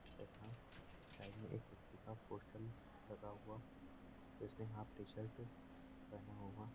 तथा साइड में एक व्यक्ति का पोस्टर लगा हुआ जिसने हॉफ टीशर्ट पहना हुआ --